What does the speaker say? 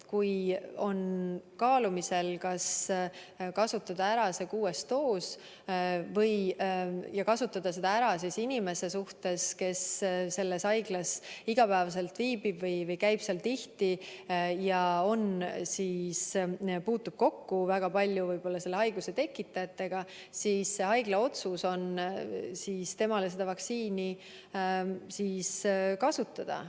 Kui on kaalumisel, kas kasutada ära kuues doos ja kas kasutada see ära inimese peal, kes selles haiglas igapäevaselt viibib või käib seal tihti ja puutub kokku selle haiguse tekitajatega, siis on haigla otsus tema peal seda vaktsiini kasutada.